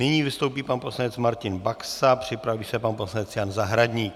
Nyní vystoupí pan poslanec Martin Baxa, připraví se pan poslanec Jan Zahradník.